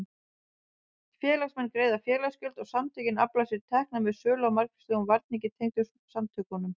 Félagsmenn greiða félagsgjöld og samtökin afla sér tekna með sölu á margvíslegum varningi tengdum samtökunum.